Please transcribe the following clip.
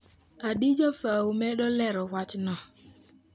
Adijah fau medo lero wachno.